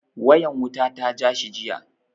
Wayan wuta ta ja shi jiya.